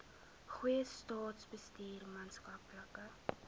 goeie staatsbestuur maatskaplike